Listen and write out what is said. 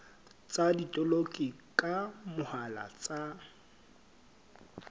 tsa botoloki ka mohala tsa